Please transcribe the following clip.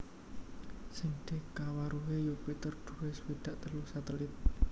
Sing dikawruhi Yupiter duwé swidak telu satelit